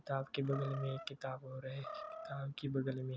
किताब के बगल में एक किताब और है किताब के बगल में --